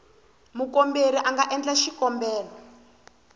mukomberi a nga endla xikombelo